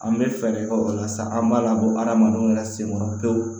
An bɛ fɛɛrɛ kɛ o la sa an b'a labɔ hadamadenw yɛrɛ senkɔrɔ pewu